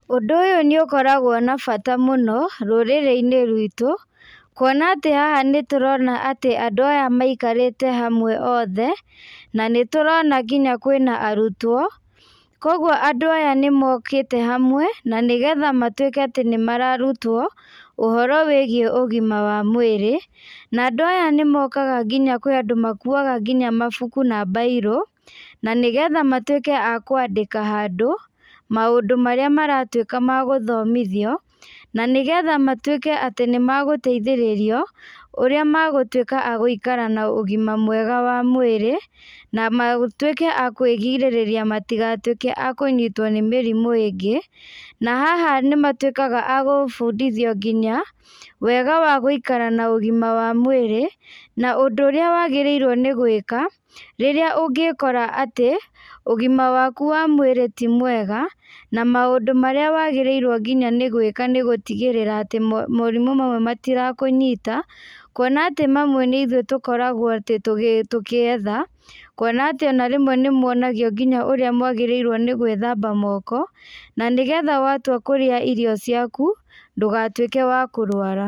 Ũndũ ũyũ nĩũkoragwo na bata mũno, rũrĩrĩinĩ ruitũ, kuona atĩ haha nĩtũrona atĩ andũ aya maikarĩte hamwe othe, na nĩtũrona nginya kwĩna arutwo, koguo andũ aya nĩmokĩte hamwe, na nĩgetha matuĩke atĩ nĩmararutwo, ũhoro wĩgiĩ ũgima wa mwĩrĩ, na andũ aya nĩmokaga nginya kwĩ andũ makuaga nginya mabuku na mbairũ, na nĩgetha matuĩke a kwandĩka handũ, maũndũ marĩa maratuĩka magũthomithio, na nĩgetha matuĩke atĩ nĩmagũteithĩrĩrio, ũrĩa magũtuĩka a gũikara na ũgima mwega wa mwĩrĩ, na matuĩke a kwĩgirĩrĩria matigatuĩke a kũnyitwo nĩ mĩrimũ ingĩ, na haha nĩmatuĩkaga a gũbũndithio nginya, wega wa gũikara na ũgima wa mwĩrĩ, na ũndũ ũrĩa wagĩrĩirwo nĩgwĩka, rĩrĩa ũngĩkora atĩ, ũgima waku wa mwĩrĩ ti mwega, na maũndũ marĩa wagĩrĩirwo nginya nĩgwĩka nĩgũtigĩrĩra atĩ mo morimũ mamwe matirĩkũnyita, kuona atĩ mamwe nĩithuĩ tũkoragwo atĩ tũkĩ tũkietha, kuona atĩ ona rĩmwe nĩmuonagio nginya ũrĩa mwagĩrĩirwo nĩgwĩthamba moko, na nĩgetha watua kũrĩa irio ciaku, ndũgatuĩke wa kũrwara.